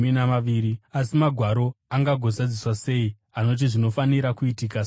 Asi Magwaro angagozadziswa sei anoti zvinofanira kuitika saizvozvo?”